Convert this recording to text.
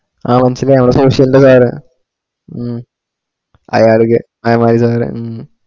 ആ മനസിലായി മമ്മളെ social ന്റെ sir അ ഉം അയാളികെ അയ്മാലി sir ഉം